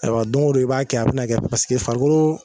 Ayiwa don go don i b'a kɛ a bi na kɛ pase farikolo